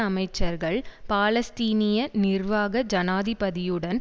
அமைச்சர்கள் பாலஸ்தீனிய நிர்வாக ஜனாதிபதியுடன்